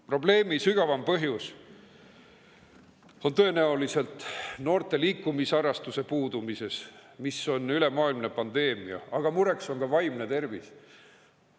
Probleemi sügavam põhjus on tõenäoliselt noorte liikumisharrastuse puudumises, mis on ülemaailmne pandeemia, aga mureks on ka vaimne tervis.